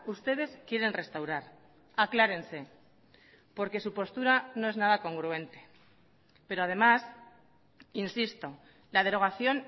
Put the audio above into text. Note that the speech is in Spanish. ustedes quieren restaurar aclárense porque su postura no es nada congruente pero además insisto la derogación